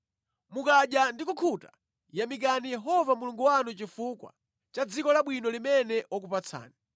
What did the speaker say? Mukadya ndi kukhuta, yamikani Yehova Mulungu wanu chifukwa cha dziko labwino limene wakupatsani.